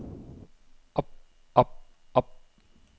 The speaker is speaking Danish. op op op